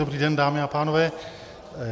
Dobrý den, dámy a pánové.